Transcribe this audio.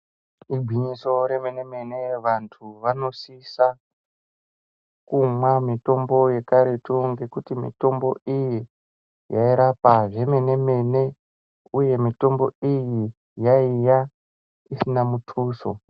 Igwinyiso remene-mene, vantu vanosisa kumwa mitombo yekaretu ngekuti mitombo iyi yairapa zvemene-mene, uye mitombo iyi yaiya isina mutuso.